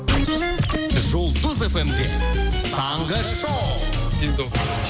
жұлдыз эф эм де таңғы шоу